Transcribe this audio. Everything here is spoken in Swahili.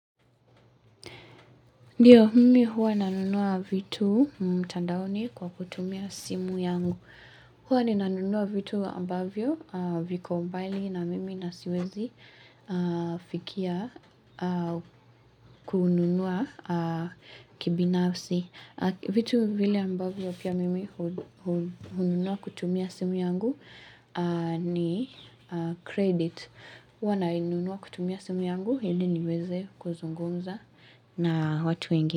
Ndio, mimi huwa nanunua vitu mtandaoni kwa kutumia simu yangu. Huwa ni nanunua vitu ambavyo viko mbali na mimi nasiwezi fikia kununua kibinafsi. Vitu vile ambavyo pia mimi hununua kutumia simu yangu ni kredit. Hua nainunua kutumia simu yangu ili niweze kuzungumza na watu wengi.